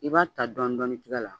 I b'a ta dɔɔnin dɔɔnin tiga la